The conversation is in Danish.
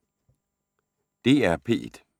DR P1